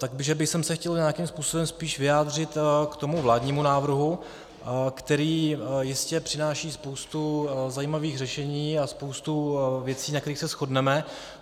Tak bych se chtěl nějakým způsobem spíš vyjádřit k tomu vládnímu návrhu, který jistě přináší spoustu zajímavých řešení a spoustu věcí, na kterých se shodneme.